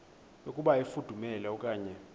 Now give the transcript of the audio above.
yokuba ifudumele okanye